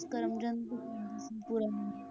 ਕਰਮਚੰਦ ਪੂਰਾ ਨਾਂ